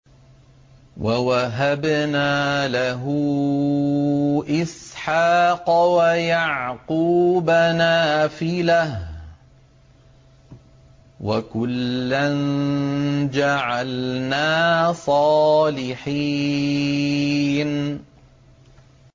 وَوَهَبْنَا لَهُ إِسْحَاقَ وَيَعْقُوبَ نَافِلَةً ۖ وَكُلًّا جَعَلْنَا صَالِحِينَ